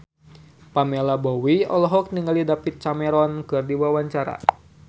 Pamela Bowie olohok ningali David Cameron keur diwawancara